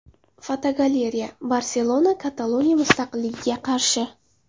Fotogalereya: Barselona Kataloniya mustaqilligiga qarshi .